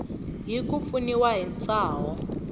hi ku pfuniwa hi ntshaho